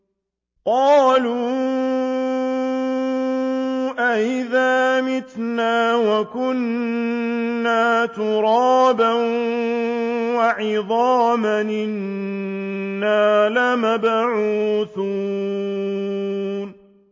قَالُوا أَإِذَا مِتْنَا وَكُنَّا تُرَابًا وَعِظَامًا أَإِنَّا لَمَبْعُوثُونَ